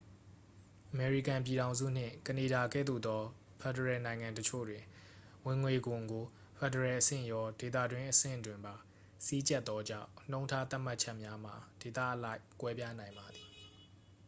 အမေရိကန်ပြည်ထောင်စုနှင့် ကနေဒါကဲ့သို့သော ဖက်ဒရယ်နိုင်ငံအချို့တွင် ဝင်ငွေခွန်ကို ဖက်ဒရယ်အဆင့်ရော ဒေသတွင်းအဆင့်တွင်ပါ စည်းကြပ်သောကြောင့် နှုန်းထားသတ်မှတ်ချက်များမှာ ဒေသအလိုက် ကွဲပြားနိုင်ပါသည်